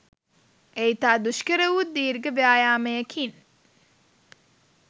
එය ඉතා දුෂ්කරවුත් දිර්ඝ ව්‍යායාමයකින්